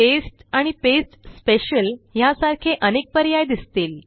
paste आणि pasta special ह्यासारखे अनेक पर्याय दिसतील